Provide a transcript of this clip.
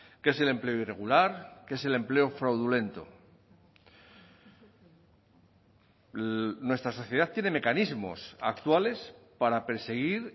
que es el empleo irregular que es el empleo fraudulento nuestra sociedad tiene mecanismos actuales para perseguir